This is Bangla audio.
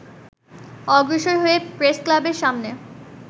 অগ্রসর হয়ে প্রেসক্লাবের সামনে